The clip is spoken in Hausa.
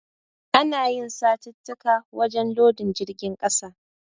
Ana yi satittika wajen lodin jirgin ƙasa.